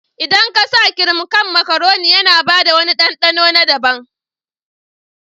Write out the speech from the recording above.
Idan ka sa kirim a kan makaroni, yana bada wani ɗanɗano na daban.